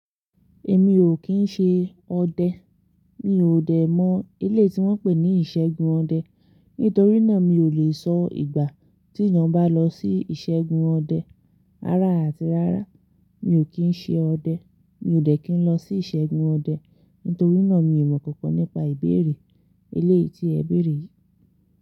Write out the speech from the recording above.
Èmi ò kín ṣe ọdẹ, mi ò dẹ̀ mọ eleyi tí wọ́n ń pè ní ìṣẹ́gun ọdẹ nítorí náà mi ò lè sọ ìgbà tí èèyàn bá lọ sí ìṣégun ọdẹ. Rara àti rara, mi ò kín ṣe ọdẹ, mi ò dẹ́ kí n lọ sí ìṣégun ọdẹ nítorí náà mi ò mọ̀ kankan nípa ìbéèrè eléyìí tí ẹ béèrè yìí.